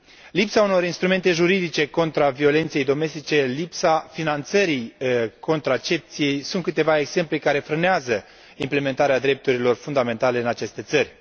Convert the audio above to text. Lipsa unor instrumente juridice contra violenței domestice, lipsa finanțării contracepției, sunt câteva exemple care frânează implementarea drepturilor fundamentale în aceste țări.